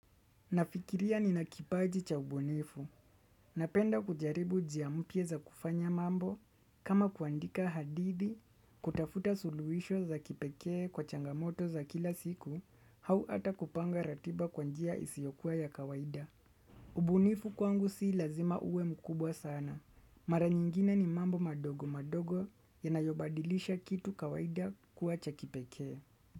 Nafikiria ninakipaji cha ubunifu. Napenda kujaribu njia mpya za kufanya mambo kama kuandika hadithi, kutafuta suluhisho za kipekee kwa changamoto za kila siku, au ata kupanga ratiba kwa njia isiokua ya kawaida. Ubunifu kwangu si lazima ue mukubwa sana. Mara nyingine ni mambo madogo madogo yanayo badilisha kitu kawaida kuwa cha kipekee.